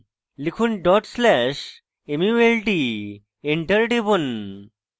লিখুন dot slash mult enter টিপুন